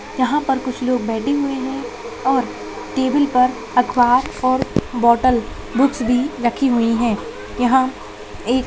यहाँ पर कुछ लोग बैठे हुए है और टेबिल पर अखबार और बॉटल बुकस दी रखी हुई है यहाँ--